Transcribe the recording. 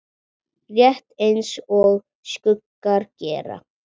Rétt eins og skuggar gera.